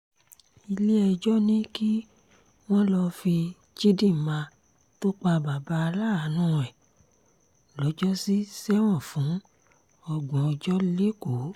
ilé-ẹjọ́ ní kí wọ́n lọ́ọ́ fi chidinma tó pa bàbá aláàánú ẹ̀ lọ́jọ́sí sẹ́wọ̀n fún ọgbọ̀n ọjọ́ lẹ́kọ̀ọ́